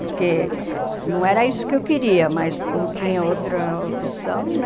Porque não era isso que eu queria, mas não tinha outra opção, né?